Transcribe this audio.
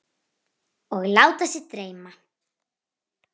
Og láta sig dreyma.